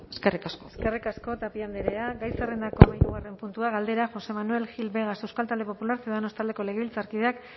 eskerrik asko eskerrik asko tapia andrea gai zerrendako hamahirugarren puntua galdera josé manuel gil vegas euskal talde popularra ciudadanos taldeko legebiltzarkideak